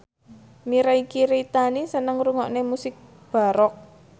Mirei Kiritani seneng ngrungokne musik baroque